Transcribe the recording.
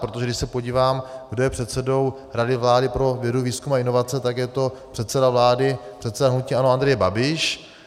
Protože když se podívám, kdo je předsedou Rady vlády pro vědu, výzkum a inovace, tak je to předseda vlády, předseda hnutí ANO Andrej Babiš.